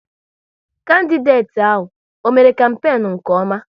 Kandideti ahụ, ọ mère kampenu nke ọma?